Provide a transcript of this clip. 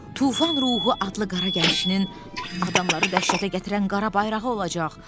Tufan ruhu adlı qara gəmisinin adamları dəhşətə gətirən qara bayrağı olacaq.